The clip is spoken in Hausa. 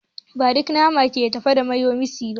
Ba duk nama ke tafiya daidai da mayonnaise ba.